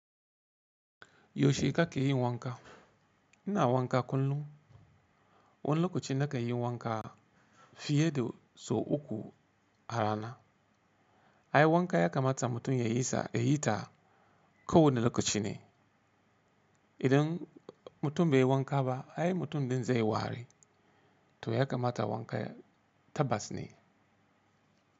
Yaushe kake yin wanka? Ina wanka kullum. Wani lokaci nakan yi wanka fiye da sau uku a rana. Ai wanka ya kamata mutum ya yi ta ko wane lokaci ne. Idan mutum bai yi wanka ba ai mutum din zai wari. To ya kamata wanka tabbas ne.